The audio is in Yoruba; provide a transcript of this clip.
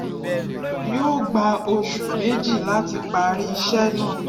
yí ó gba oṣù méjì láti parí ìṣe náà